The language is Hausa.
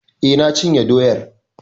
Eh, na cinye doyar.